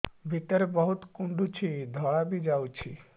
ଭିତରେ ବହୁତ କୁଣ୍ଡୁଚି ଧଳା ବି ଯାଉଛି